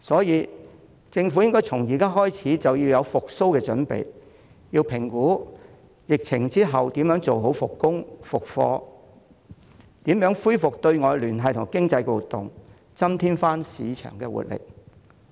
因此，政府應該從現在開始為復蘇做準備，亦要評估疫情後如何妥善復工、復課，以及如何恢復對外聯繫及經濟活動，增添市場的活力。